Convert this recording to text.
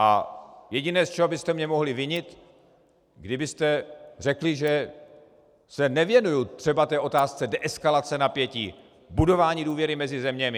A jediné, z čeho byste mě mohli vinit, kdybyste řekli, že se nevěnuji třeba té otázce deeskalace napětí, budování důvěry mezi zeměmi.